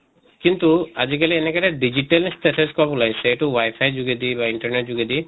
কিন্তু আজি কালি এনেকা এটা digital stethoscope ওলাইছে এইটো wifi যোগেদি বা internet যোগেদি